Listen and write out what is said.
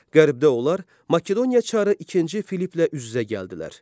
Qərbdə onlar Makedoniya çarı ikinci Filipplə üz-üzə gəldilər.